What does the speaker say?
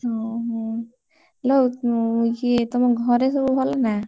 ଓହୋ ଆଲୋ ଇଏ ତମ ଘରେ ସବୁ ଭଲ ନା?